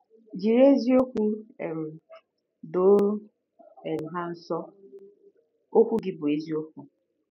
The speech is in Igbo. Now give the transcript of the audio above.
Jiri ezi-okwu um doo um ha nsọ; okwu gi bu eziokwu. ”